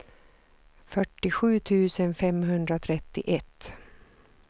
fyrtiosju tusen femhundratrettioett